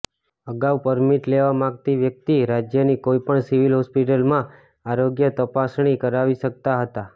અગાઉ પરમીટ લેવા માગતી વ્યક્તિ રાજ્યની કોઈપણ સિવિલ હોસ્પિટલમાં આરોગ્ય તપાસણી કરાવી શકતા હતા